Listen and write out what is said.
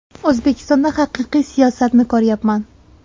O‘zbekistonda haqiqiy siyosatni ko‘ryapman.